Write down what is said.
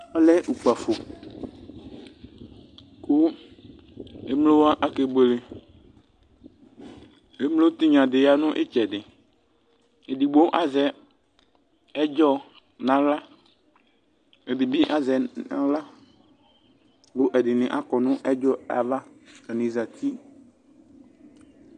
Ɔlɛ ukpǝfo, kʋ emlo wa ake bueleEmlo tnya dɩ ya nʋ ɩtsɛdɩEdigbo azɛ ɛdzɔ naɣla, ɛdɩ bɩ azɛ naɣla Kʋ ɛdɩnɩ akɔ nʋ ɛdzɔyɛ ava atanɩ ,zati